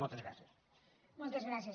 motes gràcies